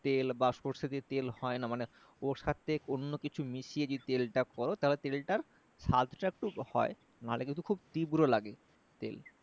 তেল বা সর্ষে দিয়ে তেল হয়না মানে ওর সাথে অন্য কিছু মিশিয়ে যে তেল টা কর তাহলে তেলটার সাধটা একটু হয় নাহলে কিন্তু খুব তীব্র লাগে তেল